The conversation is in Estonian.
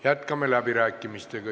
Jätkame läbirääkimisi.